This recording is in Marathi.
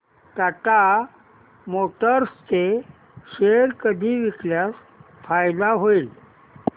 टाटा मोटर्स चे शेअर कधी विकल्यास फायदा होईल